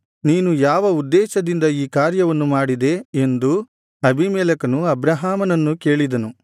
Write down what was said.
ನೀನು ಯಾವ ಉದ್ದೇಶದಿಂದ ಈ ಕಾರ್ಯವನ್ನು ಮಾಡಿದೆ ಎಂದು ಅಬೀಮೆಲೆಕನು ಅಬ್ರಹಾಮನನ್ನು ಕೇಳಿದನು